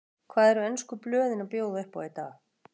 Hvað eru ensku blöðin að bjóða upp á í dag?